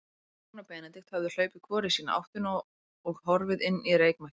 Frímann og Benedikt höfðu hlaupið hvor í sína áttina og horfið inn í reykmökkinn.